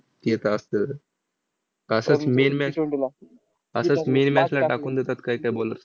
ते तर असतंच. असंच main match असंच main match ला टाकून देतात कायकाय bowler.